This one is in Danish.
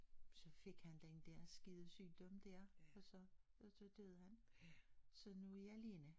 Så fik han den der skide sygdom dér og så og så døde han så nu er jeg alene